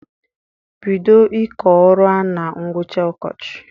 Bido ịkọ ọrụ a na ngwụcha ọkọchị!